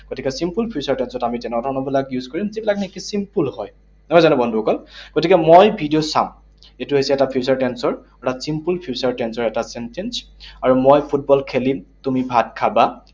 গতিকে simple future tense ত আমি তেনেকুৱা ধৰণৰবিলাক use কৰিম, যিবিলাক নেকি simple হয়। নহয় জানো বন্ধুসকল? গতিকে মই ভিডিঅ চাম, এইটো হৈছে এটা future tense ৰ এটা simple future tense ৰ এটা sentence । আৰু মই ফুটবল খেলিম, তুমি ভাত খাবা